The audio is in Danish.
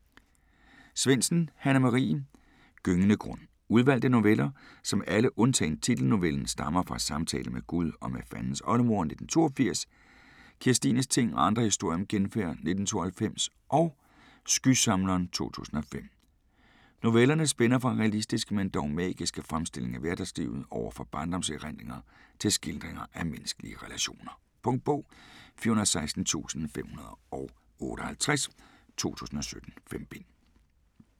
Svendsen, Hanne Marie: Gyngende grund Udvalgte noveller, som alle undtagen titelnovellen stammer fra "Samtale med Gud og med Fandens oldemor" (1982), "Kirstines ting og andre historier om genfærd" (1992) og "Skysamleren" (2005). Novellerne spænder fra realistiske men dog magiske fremstillinger af hverdagslivet over barndomserindringer til skildringer af menneskelige relationer. Punktbog 416558 2017. 5 bind.